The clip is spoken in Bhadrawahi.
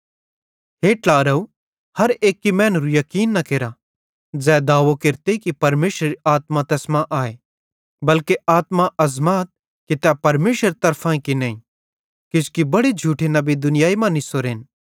हे ट्लारव हर एक्की मैनेरू याकीन न केरा ज़ै दावो केरते कि परमेशरेरी आत्मा तैस मां आए बल्के आत्मां अज़माथ कि तै परमेशरेरी तरफांए कि नईं किजोकि बड़े झूठे नबी दुनियाई मां निसोरेन